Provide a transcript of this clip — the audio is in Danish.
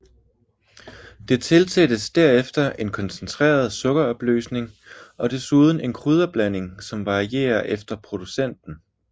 Det tilsættes derefter en koncentreret sukkeropløsning og dessuden en krydderblanding som varierer efter producenten